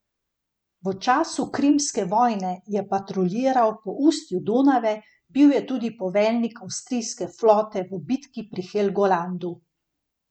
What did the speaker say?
V času krimske vojne je patruljiral po ustju Donave, bil je tudi poveljnik avstrijske flote v bitki pri Helgolandu.